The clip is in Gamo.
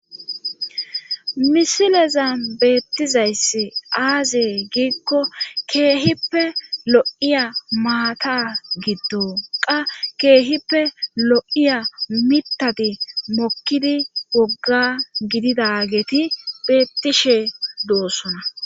Misileza beettizayss aazey giikko keehippe lo7iya maata giddo qa keehippe lo7iya mitati mokkidi wogga gidida geeti beettishe doossona